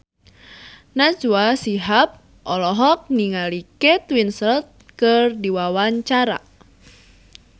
Najwa Shihab olohok ningali Kate Winslet keur diwawancara